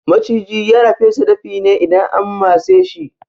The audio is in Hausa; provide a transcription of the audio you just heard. Maciji yana fesa dafi ne idan an matseshi